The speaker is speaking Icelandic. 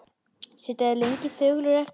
Sitja þeir lengi þögulir eftir.